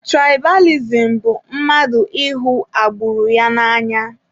Tụraịbalizim bụ mmadụ ịhụ agburu ya n'anya.